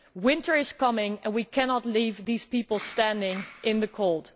Winter is coming and we cannot leave these people standing in the cold.